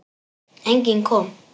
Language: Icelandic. Enginn kom.